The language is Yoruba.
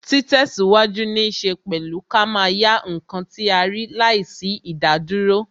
Ti tesiwaju ní ṣe pẹ̀lú ká máa yá ǹkan tí a rí láìsí idaduro